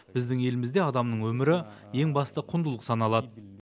біздің елімізде адамның өмірі ең басты құндылық саналады